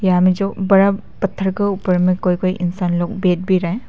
यहाँ मे जो बड़ा पत्थर के ऊपर में कोई कोई इंसान लोग बैठ भी रहा है।